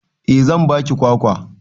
Eh zan ba ki kwakwa.